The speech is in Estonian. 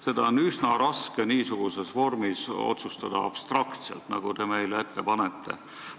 Seda on üsna raske otsustada abstraktselt, niisuguses vormis, nagu teie meile ette panete.